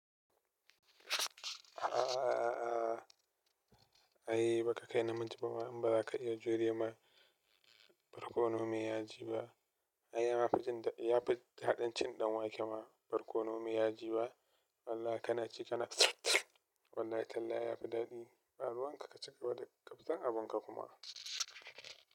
A a a a. Ai baka kai namiji bama in baza ka iya jure ma barkono me ya ji ba. Ai ya ma fi jinda, ya fi daɗin cin ɗan wake ma barkono me ya ji ba. Wallah kana ci kana tsihhh tsihhh. Wallahi tallahi ya fi daɗi, ɓaruwan ka ka cika waɗi, ƙafsan abun ka kuma.